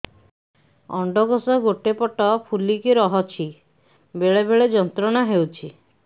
ଅଣ୍ଡକୋଷ ଗୋଟେ ପଟ ଫୁଲିକି ରହଛି ବେଳେ ବେଳେ ଯନ୍ତ୍ରଣା ହେଉଛି